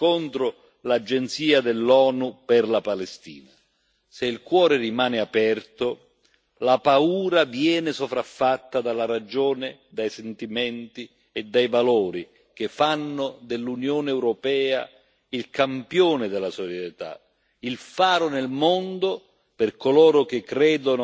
Se il cuore rimane aperto, la paura viene sopraffatta dalla ragione, dai sentimenti e dai valori che fanno dell'Unione europea il campione della solidarietà, il faro nel mondo per coloro che credono e vogliono difendere la dignità e i diritti